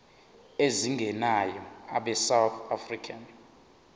ezingenayo abesouth african